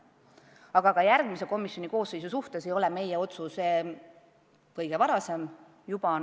Aga ka järgmise komisjoni koosseisu suhtes ei ole meie otsus kõige varasem.